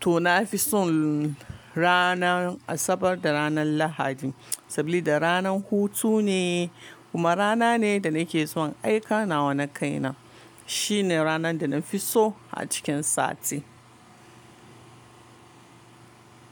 To na fi son ranan Asabar da ranan Lahadi saboda ranan hutu ne kuma rana ne da nake son aika nawa na kai na. Shine ranan da na fi so a cikin sati.